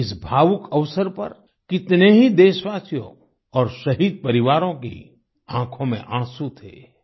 इस भावुक अवसर पर कितने ही देशवासियों और शहीद परिवारों की आँखों में आँसू थे